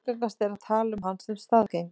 Algengast er að tala um hann sem staðgengil.